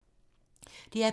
DR P2